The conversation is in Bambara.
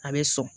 A bɛ sɔn